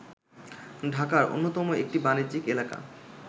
ঢাকার অন্যতম একটি বাণিজ্যিক এলাকা